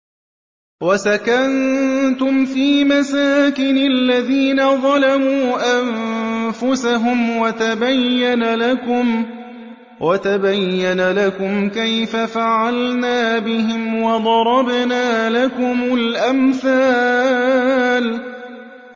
وَسَكَنتُمْ فِي مَسَاكِنِ الَّذِينَ ظَلَمُوا أَنفُسَهُمْ وَتَبَيَّنَ لَكُمْ كَيْفَ فَعَلْنَا بِهِمْ وَضَرَبْنَا لَكُمُ الْأَمْثَالَ